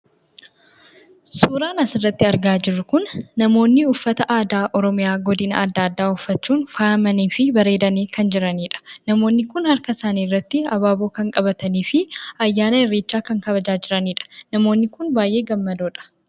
Suuraan asirratti argaa jirru kun namoonni uffata aadaa Oromiyaa godina adda addaa uffachuun faayamanii fi bareedanii kan jiranidha. Namoonni kun harka isaanii irratti abaaboo kan qabatanii fi ayyaana irreechaa kan kabajaa jiranidha. Namoonni kun baay'ee gammadoodha.